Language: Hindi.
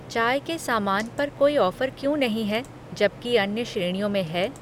चाय के सामान पर कोई ऑफ़र क्यों नहीं है जबकि अन्य श्रेणियों में है?